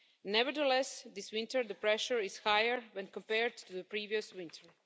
Nevertheless, this winter the pressure is higher when compared to the previous winter.